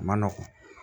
A ma nɔgɔn